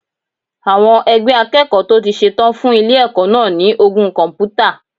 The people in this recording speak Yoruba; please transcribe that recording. Àwọn ẹgbẹ́ akẹ́kọ̀ọ́ tó ti ṣe tán fún ilé ẹ̀kọ́ náà ní ogún kọ̀m̀pútà.